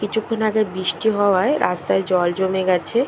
কিছুক্ষন আগে বৃষ্টি হওয়ায় রাস্তায় জল জমে গেছে।